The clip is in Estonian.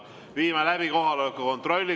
Viime läbi kohaloleku kontrolli.